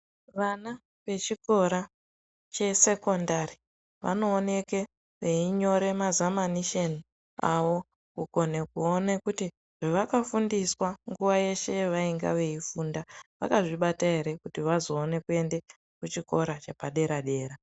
Vana vechikora che sekondari vanowoneke veyi nyora mazamanisheni avo kukone kuwone kuti zvavakafundiswa nguva yeshe beyi funda vakazvibata here kuti vazowane kuenda kuchikora chepa dera dera.